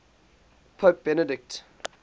pope benedict